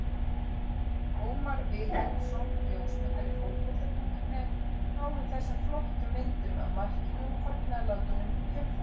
Ómar Vilhelmsson ljósmyndari Fótbolta.net náði þessum flottu myndum af markinu og fagnaðarlátunum í kjölfarið.